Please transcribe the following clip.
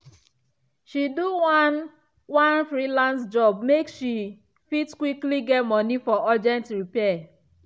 she do one one freelance job make she fit quickly get money for urgent repair.